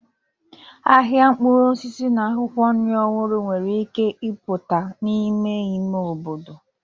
Ahịa mkpụrụ osisi na akwụkwọ nri ọhụrụ nwere ike ịpụta n'ime ime obodo.